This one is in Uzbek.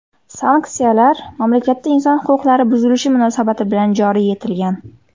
Sanksiyalar mamlakatda inson huquqlari buzilishi munosabati bilan joriy etilgan.